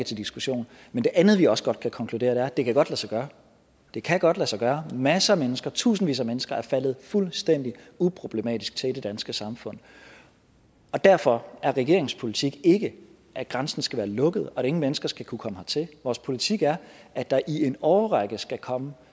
til diskussion men det andet vi også godt kan konkludere er at det godt kan lade sig gøre det kan godt lade sig gøre masser af mennesker tusindvis af mennesker er faldet fuldstændig uproblematisk til i det danske samfund derfor er regeringens politik ikke at grænsen skal være lukket og at ingen mennesker skal kunne komme hertil vores politik er at der i en årrække skal komme